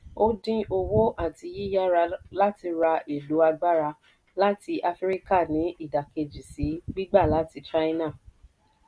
ó dín owó àti yíyára láti ra èlò agbára láti áfíríkà ní ìdákejì sí gbígba láti china.